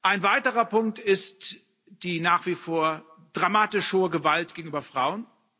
Ein weiterer Punkt ist die nach wie vor dramatisch hohe Gewalt gegenüber Frauen.